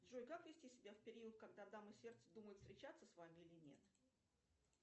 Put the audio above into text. джой как вести себя в период когда дама сердца думает встречаться с вами или нет